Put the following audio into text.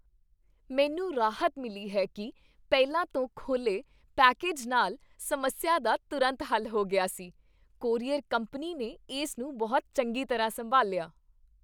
ਮੈਨੂੰ ਰਾਹਤ ਮਿਲੀ ਹੈ ਕਿ ਪਹਿਲਾਂ ਤੋਂ ਖੋਲ੍ਹੇ ਪੈਕੇਜ ਨਾਲ ਸਮੱਸਿਆ ਦਾ ਤੁਰੰਤ ਹੱਲ ਹੋ ਗਿਆ ਸੀ। ਕੋਰੀਅਰ ਕੰਪਨੀ ਨੇ ਇਸ ਨੂੰ ਬਹੁਤ ਚੰਗੀ ਤਰ੍ਹਾਂ ਸੰਭਾਲਿਆ।